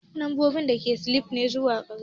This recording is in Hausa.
Lambobi daga sifili ne zuwa karshe